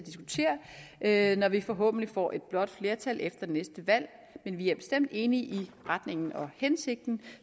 at diskutere når vi forhåbentlig får et blåt flertal efter næste valg men vi er bestemt enige i retningen og hensigten